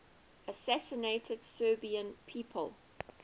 assassinated serbian people